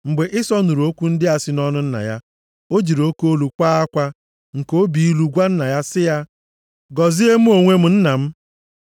Mgbe Ịsọ nụrụ okwu ndị a si nʼọnụ nna ya, o jiri oke olu kwaa akwa nke obi ilu gwa nna ya sị ya, “Gọzie m, mụ onwe m, nna m.”